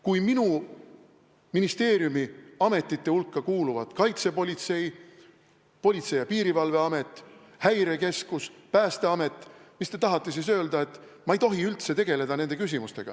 Kui minu ministeeriumi ametite hulka kuuluvad Kaitsepolitseiamet, Politsei- ja Piirivalveamet, Häirekeskus, Päästeamet, kas te tahate siis öelda, et ma ei tohi üldse nende küsimustega tegeleda?